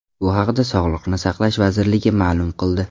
Bu haqda Sog‘liqni saqlash vazirligi ma’lum qildi .